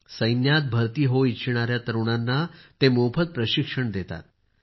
सैन्यात भरती होऊ इच्छिणाऱ्या तरुणांना ते मोफत प्रशिक्षण देतात